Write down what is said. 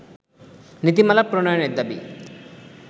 নীতিমালা প্রণয়নের দাবি